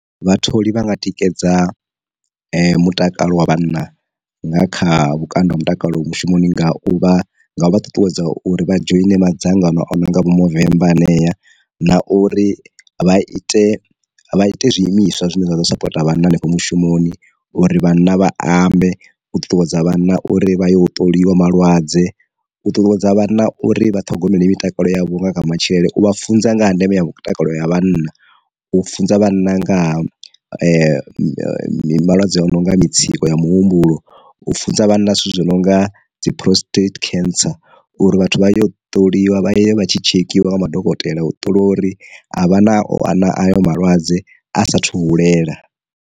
Vhatholi vhanga tikedza mutakalo wa vhanna nga kha vhukando ha mutakalo mushumoni nga u vha nga u vha ṱuṱuwedza uri vha dzhoine madzangano o no nga vho movember hanea, na uri vha ite vha ite zwiimiswa zwine zwa ḓo sapota vhana hanefho mushumoni uri vhana vha ambe, u ṱuṱuwedza vhana uri vha ya u ṱoliwa malwadze, u ṱuṱuwedza vhana uri vha ṱhogomeli mitakalo ya vhunga kha matshilele, u vha funza nga ha ndeme ya mutakalo ya vhanna, u funza vhanna nga ha malwadze a no nga mutsiko wa muhumbulo, u funza vhana zwithu zwi no nga dzi prostate cancer, uri vhathu vha yo ṱoliwa vha yo vha tshi tshekhiwa nga madokotela u ṱola uri a vha na ayo malwadze a sa thu hulela.